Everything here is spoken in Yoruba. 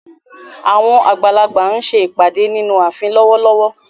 Àwọn àgbà ń ṣe ìpàdé nínú ààfin lọ́wọ́lọ́wọ́.